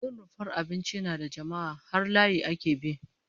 In rumfar abinci suna da jama'a, har layi ake bi